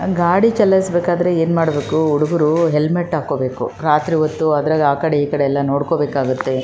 ಇದು ರಸ್ತೆಯ ಮೇಲೆ ಒಂದು ಗಾಡಿ ಹೋಗುತ್ತಿದೆ ಆ ಗಾಡಿಯ ಮೇಲೆ ಇಬ್ಬರು ಜನರು ಕುಳಿತುಕೊಂಡಿದ್ದಾರೆ ಒಬ್ಬ ಬಿಳಿಯ ಬಣ್ಣದ ಶರ್ಟ್ ಹಾಕಿಕೊಂಡಿದ್ದಾನೆ.